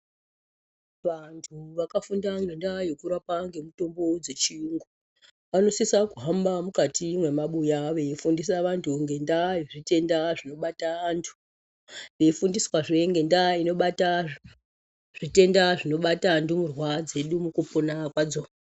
Vantu vakafunda ngendaa yekurapa ngemitombo dzechiyungu vanosisa kuhamba mukati mwemabuya vei fundisa vantu ngendaa yezvitenda zvino bata antu veifundiswazve ngendaa inobata zvitenda zvinobata ndumurwa dzedu mukupona kwadzo.